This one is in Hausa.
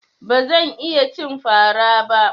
Ba zan iya cin fara ba.